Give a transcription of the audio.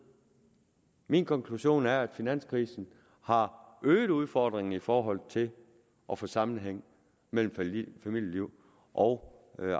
min konklusion er at finanskrisen har øget udfordringen i forhold til at få sammenhæng mellem familieliv og